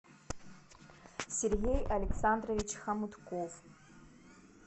сергей александрович хомутков